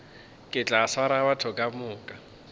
ke tla swara batho kamoka